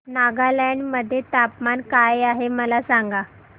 नागालँड मध्ये तापमान काय आहे मला सांगा